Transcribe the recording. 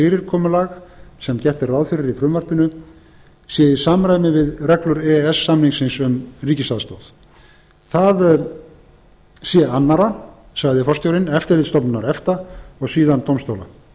fyrirkomulag sem gert er ráð fyrir í frumvarpinu sé í samræmi við reglur e e s samningsins um ríkisaðstoð það sé annarra sagði forstjórinn eftirlitsstofnunar efta og síðan dómstóla